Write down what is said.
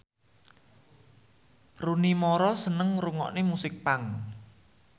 Rooney Mara seneng ngrungokne musik punk